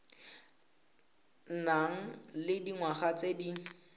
nang le dingwaga tse di